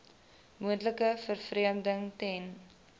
moontlike vervreemding ten